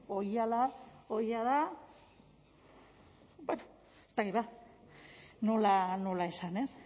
hori ja da bueno ez dakit ba nola esan ez